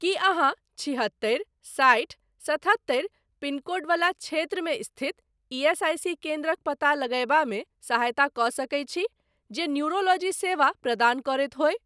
की अहाँ छिहत्तरि साठि सतहत्तरि पिनकोड वला क्षेत्रमे स्थित ईएसआईसी केन्द्रक पता लगयबामे सहायता कऽ सकैत छी जे न्यूरोलॉजी सेवा प्रदान करैत होय?